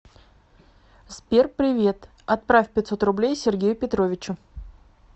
сбер привет отправь пятьсот рублей сергею петровичу